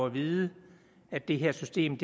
at vide at det her system